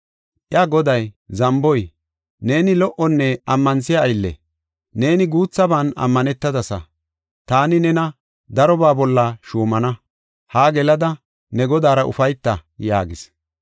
Iya goday, ‘Zamboy! Neeni lo77onne ammanthiya aylle; neeni guuthaban ammanetadasa. Taani nena darobaa bolla shuumana; haa gelada ne godaara ufayta’ yaagis.